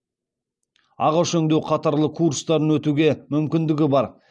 ағаш өңдеу қатарлы курстарын өтуге мүмкіндігі бар